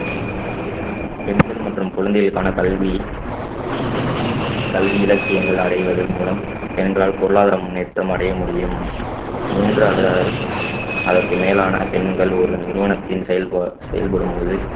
பெண்கள் மற்றும் குழந்தைகளுக்கான கல்வி கல்வி இலக்கியங்கள் அடைவதன் மூலம் பெண்களால் பொருளாதார முன்னேற்றம் அடைய முடியும் மூன்று அல்லது அதற்~ அதற்கு மேலான பெண்கள் ஒரு நிறுவனத்தின் செயல்பாடு~ செயல்படும் போது